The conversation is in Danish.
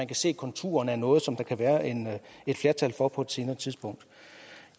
kan se konturerne af noget som der kan være et flertal for på et senere tidspunkt